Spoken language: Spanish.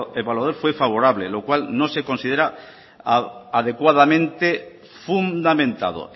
evaluador fue favorable lo cual no se considera adecuadamente fundamentado